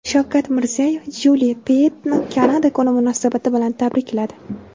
Shavkat Mirziyoyev Jyuli Peyettni Kanada kuni munosabati bilan tabrikladi.